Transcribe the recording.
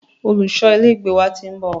Olùṣọ ilé ìgbé wa ti ń bọ̀.